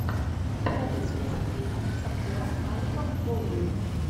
покажи список фильмов с актером алеком болдуином